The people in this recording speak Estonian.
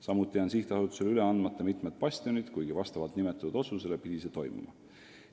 Samuti on sihtasutusele üle andmata mitmed bastionid, kuigi vastavalt nimetatud otsusele pidi see toimuma.